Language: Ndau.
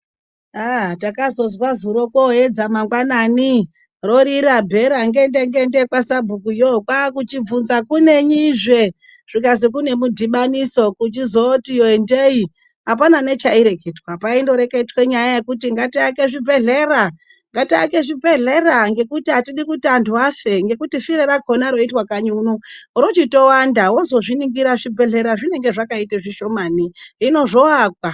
Takazozwa zuro koyedza mangwanani, rorira bhera ngende ngende kwasabhukuyo, kwakuchibvunza kuti kunenyizve zvikazi kunemudhibaniso kuchizoti endei, apana nechaireketwa. Kwaingoreketwa nyaya yekuti ngatiake zvibhedhlera. Ngatiake zvibhedhlera ngekuti atidi kuti antu afe, ngekuti firo rakhona roitwe kanyi kuno rochitowanda. Wozozviningira zvibhedhlera zvinenge zvakaita zvishomani, hino zvovakwa.